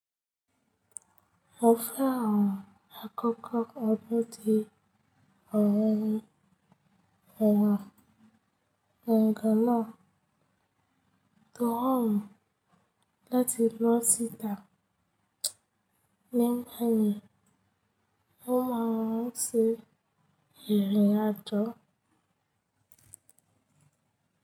Mo fẹ́ ràn àkọ́kọ́ ọdún di ọ̀ọ̀run ọ̀wọ́n ẹ̀ẹ̀kan náà tó hàn láti lọ síta. Nígbà yẹn, ó máa ń ṣe ìrìn àjò.